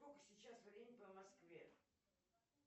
сколько сейчас времени по москве